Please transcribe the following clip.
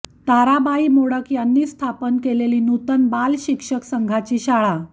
ताराबाई मोडक यांनी स्थापन केलेली नूतन बाल शिक्षण संघाची शाळा